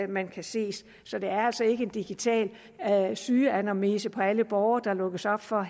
man kan se så det er altså ikke en digital sygeanamnese på alle borgere der lukkes op for